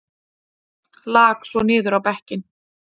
Lak svo niður á bekkinn.